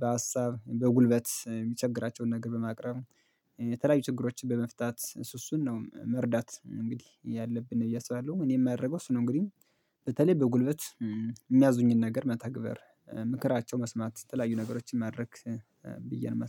በሀሳብ፣ በጉልበት፣ የሚቸግራቸውን ነገር በማቅረብ፣ የተለያዩ ችግሮችን በመፍታት፣ እስ እሱን ነው መርዳት እንግዲህ ያለብን ብዬ አስባለሁ እኔ የማያደርገው እሱ ነው እንግዲህ በተለይ በጉልበት የሚያዙኝን ነገር መተግበር፣ ምክራቸው መስማት የተለያዩ ነገሮችን ማድረግ ብዬ ነው የማስበው።